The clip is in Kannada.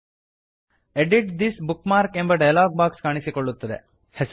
edit this bookmarks edit this bookmark ಎಂಬ ಡಯಲಾಗ್ ಬಾಕ್ಸ್ ಕಾಣಿಸಿಕೊಳ್ಳುತ್ತದೆ